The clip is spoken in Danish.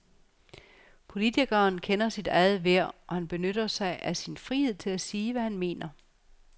Politikeren kender sit eget værd, og han benytter sig af sin frihed til at sige, hvad han mener.